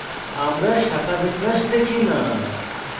আমরা শাখাবিন্যাস দেখি না